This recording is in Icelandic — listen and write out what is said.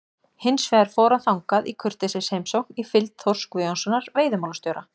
Hins vegar fór hann þangað í kurteisisheimsókn í fylgd Þórs Guðjónssonar veiðimálastjóra.